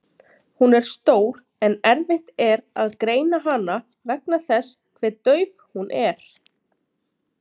Hún er stór en erfitt er að greina hana vegna þess hve dauf hún er.